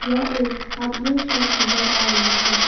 यह एक hardware shop नजर आ रही है।